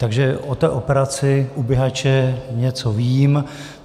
Takže o té operaci u Bihaće něco vím.